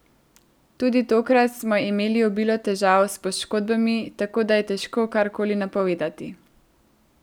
Tudi tokrat smo imeli obilo težav s poškodbami, tako da je težko karkoli napovedovati.